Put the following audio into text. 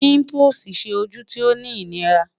Pimples ṣe oju ti o ni inira